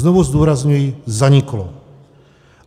Znovu zdůrazňuji - zaniklo.